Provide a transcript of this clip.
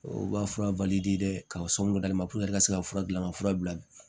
O ka fura ka so min d'ale ma i ka se ka fura dilan ka fura bila bi